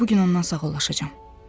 Elə bu gün ondan sağollaşacam.